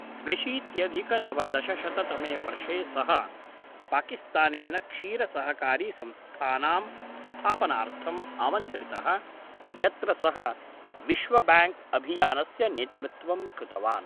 द्व्यशीत्यधिकनवदशशततमे वर्षे सः पाकिस्तानेन क्षीरसहकारीसंस्थानां स्थापनार्थम् आमन्त्रितः यत्र सः विश्वब्याङ्क् अभियानस्य नेतृत्वं कृतवान्